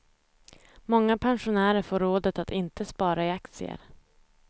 Många pensionärer får rådet att inte spara i aktier.